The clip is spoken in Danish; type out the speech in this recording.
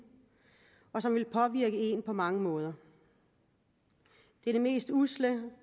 og som vil påvirke en på mange måder det er det mest usle